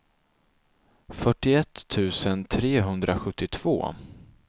fyrtioett tusen trehundrasjuttiotvå